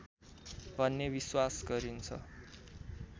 भन्ने विश्वास गरिन्छ